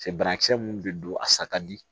Cɛ banakisɛ mun be don a sa ka di